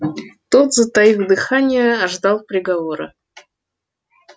тот затаив дыхание ждал приговора